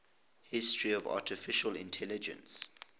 history of artificial intelligence